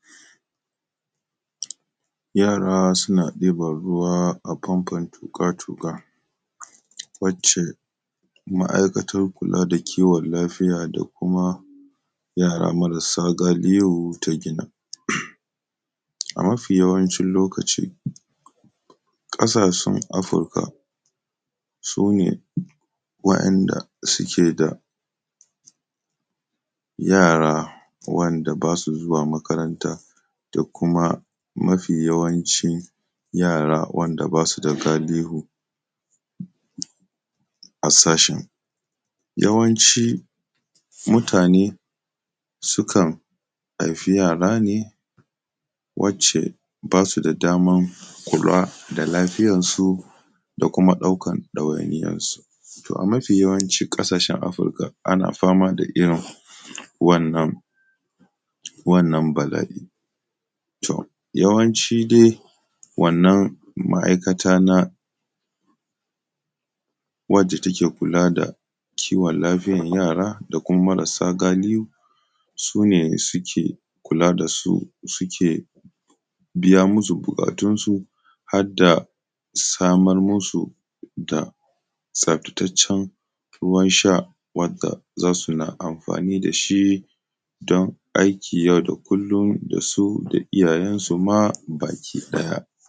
yara suna ɗiban ruwa a famfon tuƙa tuƙa wacce ma’aikatar kula da kiwon lafiya da kuma yara marasa galihu ta gina a mafi yawancin lokaci ƙasashen afirka su ne waɗanda suke da yara wanda ba su zuwa makaranta da kuma mafi yawanci yara wanda ba su da galihu a sashin yawanci mutane sukan haifi yara ne wacce ba su da daman kula da lafiyansu da kuma ɗaukan ɗawainiyansu to a mafi yawancin ƙasashen afirka ana fama da irin wannan wannan bala’i to yawanci dai wannan ma’aikata na wadda take kula da kiwon lafiyan yara da kuma marasa galihu su ne suke kula da su suke biya musu buƙatunsu har da samar musu da tsaftataccen ruwan sha wadda za su na amfani da shi don aiki yau da kullum da su da iyayensu ma baki ɗaya